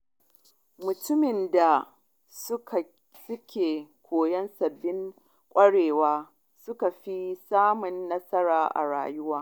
Mutanen da suke koyon sabbin ƙwarewa sukan fi samun nasara a rayuwa.